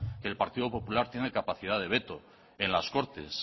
que el partido popular tiene capacidad de veto en las cortes